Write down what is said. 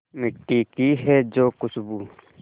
मिट्टी की है जो खुशबू